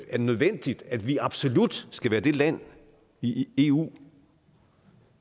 nødvendigt at vi absolut skal være det land i eu